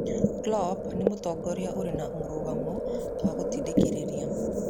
Klopp nĩ mũtongoria ũrĩ mũrũgamo na gũtindĩkĩrĩria